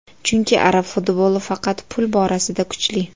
Chunki arab futboli faqat pul borasida kuchli.